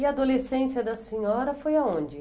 E a adolescência da senhora foi aonde?